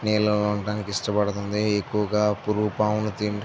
నీళ్ళల్లో ఉండటానికి ఇష్టపడుతుంది ఎక్కువగా పురుగుపమును తింటూ --